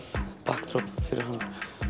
backdrop fyrir hann